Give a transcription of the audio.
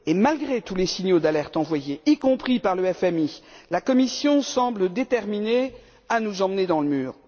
Et malgré tous les signaux d'alerte envoyés, y compris par le FMI, la Commission semble déterminée à nous emmener dans le mur.